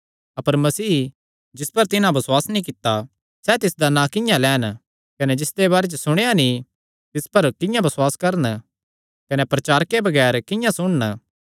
अपर मसीह जिस पर तिन्हां बसुआस नीं कित्ता सैह़ तिसदा नां किंआं लैन कने जिसदे बारे सुणेया नीं तिस पर किंआं बसुआस करन कने प्रचारके बगैर किंआं सुणन